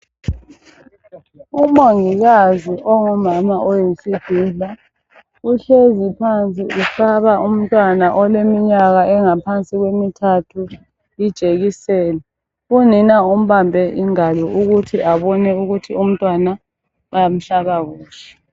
Umongikazi ongumama oyisidudla uhlezi phansi uhlaba umntwana oleminyaka engaphansi kwemithathu ijekiseni unina umbambe ingalo ukuthi abone ukuthi umntwana bamhlaba kuhle